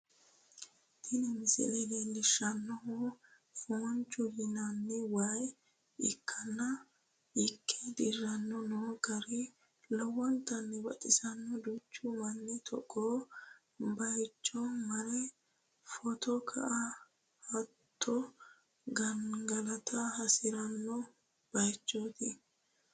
tini misile leellishshannohu fooncoho yinanni waa ikkanna ikke dirranni no garino lowontanni baxisannoho, duuchu manni togoo bayiichono mare footo ka'a hattono gangalata hasi'ranno bayichooti.